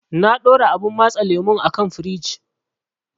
Na ɗora abun matse lemun a kan firij.